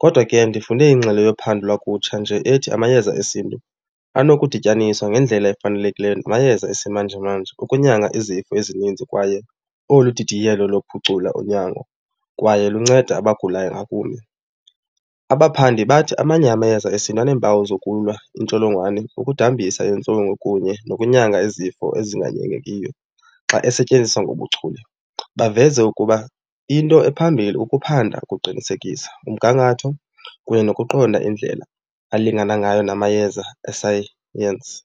Kodwa ke ndifunde ingxelo yophando lwakutsha nje ethi amayeza esiNtu anokudityaniswa ngendlela efanelekileyo namayeza esimanjemanje ukunyanga izifo ezininzi kwaye olu didiyelo luphucula unyango kwaye lunceda abagulayo ngakumbi. Abaphandi bathi amanye amayeza esiNtu aneempawu zokulwa iintsholongwane, ukudambisa iintlungu kunye nokunyanga izifo ezinganyangekiyo xa esetyenziswa ngobuchule. Baveze ukuba into ephambilli ukuphanda kuqinisekisa umgangatho kunye nokuqonda indlela alingana ngayo namayeza esayensi.